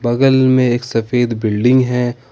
बगल में एक सफेद बिल्डिंग है।